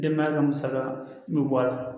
Denbaya ka musaka bɛ bɔ a la